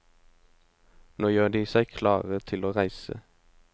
Nå gjør de seg klare til å reise.